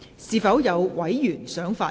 是否有委員想發言？